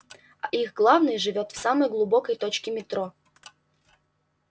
а их главный живёт в самой глубокой точке метро